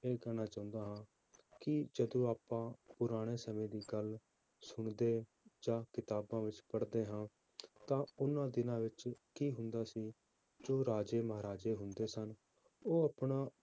ਇਹ ਕਹਿਣਾ ਚਾਹੁੰਦਾ ਹਾਂ ਕਿ ਜਦੋਂ ਆਪਾਂ ਪੁਰਾਣੇ ਸਮੇਂ ਦੀ ਗੱਲ ਸੁਣਦੇ ਜਾਂ ਕਿਤਾਬਾਂ ਵਿੱਚ ਪੜ੍ਹਦੇ ਹਾਂ ਤਾਂ ਉਹਨਾਂ ਦਿਨਾਂ ਵਿੱਚ ਕੀ ਹੁੰਦਾ ਸੀ, ਜੋ ਰਾਜੇ ਮਹਾਰਾਜੇ ਹੁੰਦੇ ਸਨ, ਉਹ ਆਪਣਾ